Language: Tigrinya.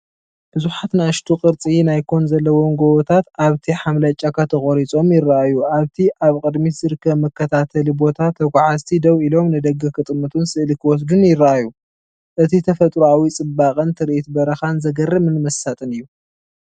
ብዙሓት ንኣሽቱ፡ ቅርጺ ናይ ኮን ዘለዎም ጎቦታት ኣብቲ ሓምላይ ጫካ ተቖሪጾም ይረኣዩ። ኣብቲ ኣብ ቅድሚት ዝርከብ መከታተሊ ቦታ፡ ተጓዓዝቲ ደው ኢሎም፡ ንደገ ክጥምቱን ስእሊ ክወስዱን ይረኣዩ። እቲ ተፈጥሮኣዊ ጽባቐን ትርኢት በረኻን፣ ዘገርምን መሳጥን እዩ።